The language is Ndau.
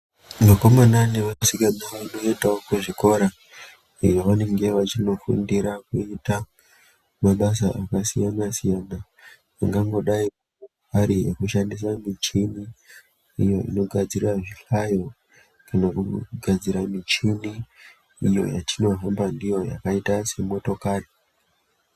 Vakomana nevasikana vanoendawo kuzvikora kwevanenge vechinofundira kuita mabasa akasiyana siyana angangodai ari ekushandisa muchini uyo inogadzira zvihlayo kana kugadzira michini iyo yatinohamba ndiyo yakaita semotokari.